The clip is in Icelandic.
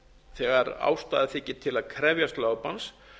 þegar ástæða þykir til að krefjast lögbanns